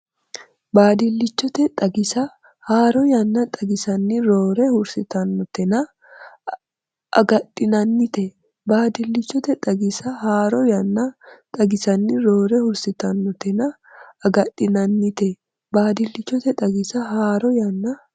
Baadillichote xagisa haaro yanna xagisanni roore hursitannotenna aggaxxinannite Baadillichote xagisa haaro yanna xagisanni roore hursitannotenna aggaxxinannite Baadillichote xagisa haaro yanna.